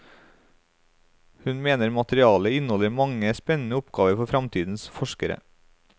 Hun mener materialet inneholder mange spennende oppgaver for fremtidens forskere.